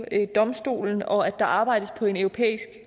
domstolens regler og at der arbejdes på en europæisk